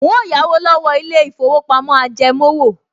N óò yáwó lọ́wọ́ ilé-ìfowópamọ́ ajẹmówò